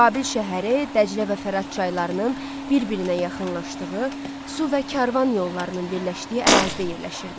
Babil şəhəri Dəclə və Fərat çaylarının bir-birinə yaxınlaşdığı, su və karvan yollarının birləşdiyi ərazidə yerləşirdi.